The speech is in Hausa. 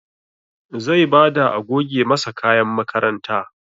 Zai bada a goge masa kayan makaranta